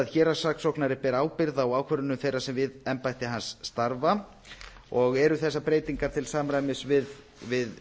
héraðssaksóknari beri ábyrgð á ákvörðunum þeirra sem við embætti hans starfa og eru þessar breytingar til samræmis við